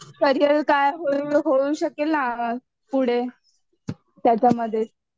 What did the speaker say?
career काय होऊ शकेल ना पुढे त्याच्यामध्येच